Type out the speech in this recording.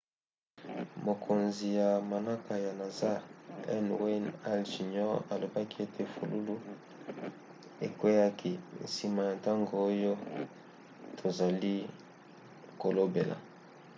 mokonzi ya manaka ya nasa n. wayne hale jr. alobaki ete fulufulu ekweaki nsima ya ntango oyo tozali kolobela.